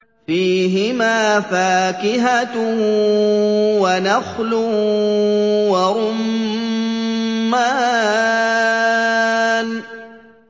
فِيهِمَا فَاكِهَةٌ وَنَخْلٌ وَرُمَّانٌ